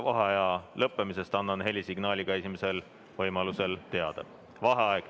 Vaheaja lõppemisest annan helisignaaliga esimesel võimalusel teada.